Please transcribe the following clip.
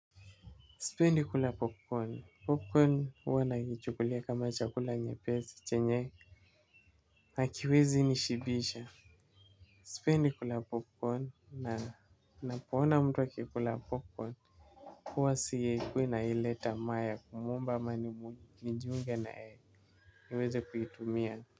Sipendi kula popcorn popcorn huwa naikichukulia kama chakula nyepesi chenye hakiwezi nishibisha sipendi kula popcorn ninapo ona mtu akikula popcorn huwa sikui na ile tamaa ya kumuomba am nijiunge na yeye niweze kuitumia.